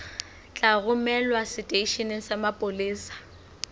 tla romelwa seteisheneng sa mapolesa